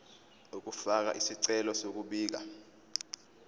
ukufaka isicelo sokubika